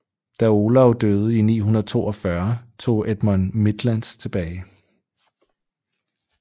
Da Olav døde i 942 tog Edmund Midlands tilbage